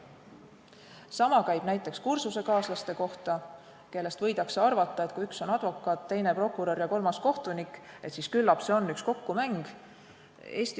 Sama käib näiteks kursusekaaslaste kohta, kelle kohta võidakse arvata, et kui üks on advokaat, teine prokurör ja kolmas kohtunik, siis küllap see on üks kokkumäng.